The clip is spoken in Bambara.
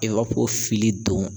fili don